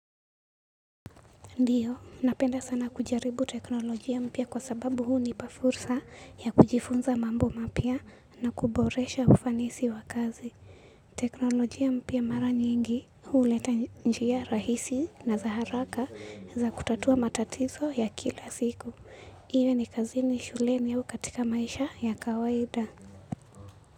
Ndiyo, napenda sana kujaribu teknolojia mpya kwa sababu hunipa fursa ya kujifunza mambo mapya na kuboresha ufanisi wa kazi. Teknolojia mpya mara nyingi huleta njia rahisi na za haraka za kutatua matatizo ya kila siku. Iwe ni kazini shuleni au katika maisha ya kawaida.